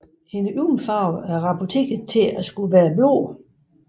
Hendes øjenfarve er rapporterede til at være blå